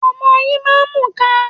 Ọmọ yín máa ń mù'ka.